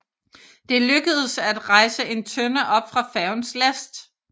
Det lykkedes at hejse en tønde op fra færgens last